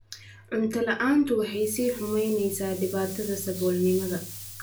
Cunto la'aantu waxay sii xumaynaysaa dhibaatada saboolnimada.